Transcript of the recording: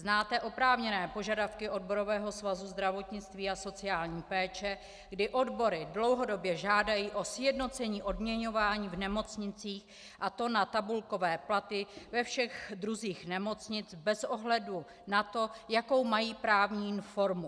Znáte oprávněné požadavky Odborového svazu zdravotnictví a sociální péče, kdy odbory dlouhodobě žádají o sjednocení odměňování v nemocnicích, a to na tabulkové platy ve všech druzích nemocnic bez ohledu na to, jakou mají právní formu.